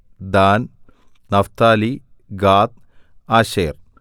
than Naphtali Gad Asher